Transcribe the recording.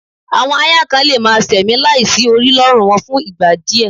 Àwọn aáyán kan lè máa ṣẹ̀mí láì sí orí lọ́rùn wọn fún ìgbà díẹ̀